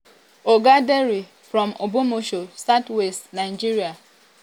oga dare from ogbomosho for oyo state south west nigeria.